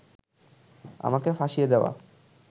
আমাকে ফাঁসিয়ে দেওয়া